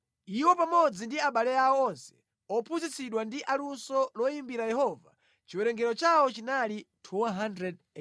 Iwo pamodzi ndi abale awo onse ophunzitsidwa ndi aluso loyimbira Yehova chiwerengero chawo chinali 288.